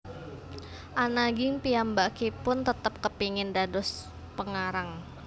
Ananging piyambakipun tetep kepengin dados pengarang